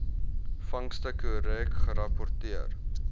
vangste korrek gerapporteer